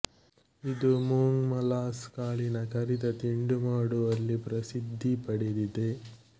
ಇದು ಮೂಂಗ್ ಮಾಲಾಸ್ ಕಾಳಿನ ಕರಿದ ತಿಂಡಿಮಾಡುವಲ್ಲಿ ಪ್ರಸಿದ್ದಿ ಪಡೆದಿದೆ